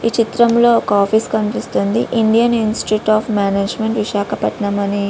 ఈ చిత్రములో ఒక ఆఫీస్ కనిపిస్తోంది Indian Institute of Management Visakhapatnam అని --